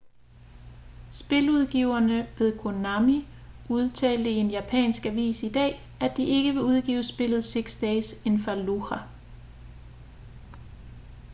spiludgiverne ved konami udtalte i en japansk avis i dag at de ikke vil udgive spillet six days in fallujah